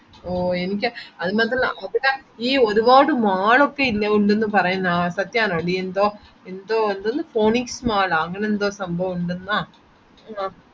ഓ എനിക്ക് ഒരുപാട് mall ഒക്കെ ഉണ്ടെന്ന് പറയുന്നേ സത്യാണോടി ന്തോ ന്തോ ന്തിന്ന് phonix mall ഓ അങ്ങനെ എന്തോ സംഭവം ഇണ്ടെന്നോ ആഹ്